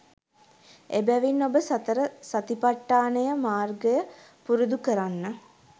එබැවින් ඔබ සතර සතිපට්ටානය මාර්ගය පුරුදුකරන්න